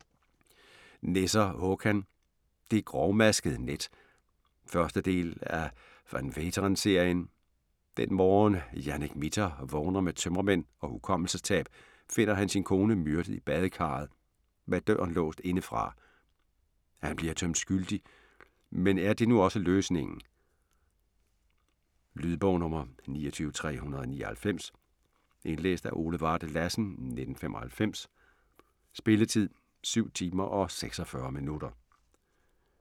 Nesser, Håkan: Det grovmaskede net 1. del af Van Veeteren-serien. Dén morgen, Janek Mitter vågner med tømmermænd og hukommelsestab, finder han sin kone myrdet i badekarret - med døren låst indefra. Han bliver dømt skyldig, men er det nu også løsningen? Lydbog 29399 Indlæst af Ole Varde Lassen, 1995. Spilletid: 7 timer, 46 minutter.